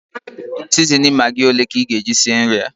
Sizinin magị ole ka ị ga-eji sie nri a?